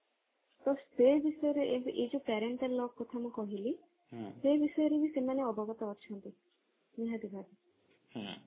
ତ ସେ ବିଷୟରେ ଏଇ ଏଇ ଯୋଉ parenteral lock କଥା ଯୋଉ ମୁଁ କହିଲି ସେ ବିଷୟରେ ବି ସେମାନେ ଅବଗତ ଅଛନ୍ତି ନିହାତି ଭାବେ